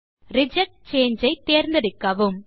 reject சாங்கே ஐ தேர்ந்தெடுக்கவும்